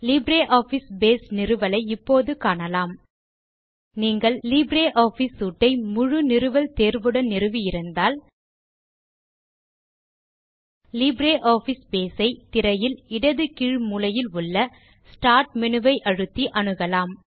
LibreOffice base நிறுவலை இப்போது காணலாம் நீங்கள் லிப்ரியாஃபிஸ் சூட் ஐ முழு நிறுவல் தேர்வுடன் நிறுவி இருந்தால் நீங்கள் லிப்ரியாஃபிஸ் பேஸ் ஐ திரையில் இடது கீழ் மூலையில் உள்ள ஸ்டார்ட் மேனு ஐ அழுத்தி அணுகலாம்